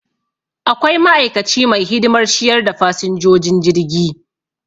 Akwai ma'aikaci mai hidimar ciyar da fasinjojin jirgi